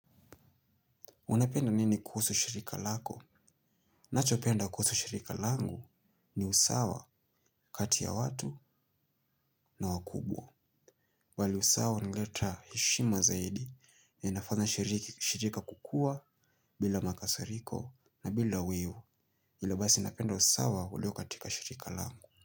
Unapenda nini kuhusu shirika lako? Nachopenda kuhusu shirika langu ni usawa, kati ya watu na wakubwa. Wali sawa huleta heshima zaidi linafanya shirika kukua bila makasariko na bila wivu. Ile basi napenda usawa ulio katika shirika langu.